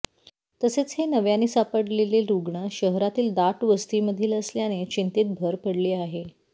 तसेच हे नव्याने सापडलेले रुग्ण शहरातील दाट वस्तीतमधील असल्याने चिंतेत भर पडली आहे